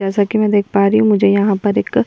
जैसा कि मैं देख पा रही हूं मुझे यहां पर एक --